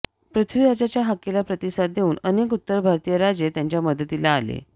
पृथ्वीराजाच्या हाकेला प्रतिसाद देऊन अनेक उत्तर भारतीय राजे त्याच्या मदतीला आले